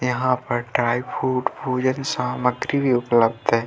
यहाँ पर dry fruit भोजन सामग्री भी उपलब्ध है।